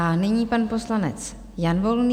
A nyní pan poslanec Jan Volný.